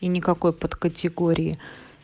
и никакой подкатегории